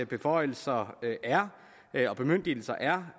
beføjelser og bemyndigelser er